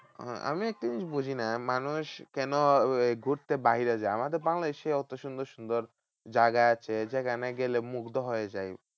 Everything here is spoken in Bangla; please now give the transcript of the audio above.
আমি একটা জিনিস বুঝিনা মানুষ কেন ঘুরতে বাইরে যায়? আমাদের বাংলাদেশে অত সুন্দর সুন্দর জায়গা আছে যেখানে গেলে মুগ্ধ হয়ে যায়।